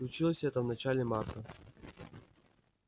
случилось это в начале марта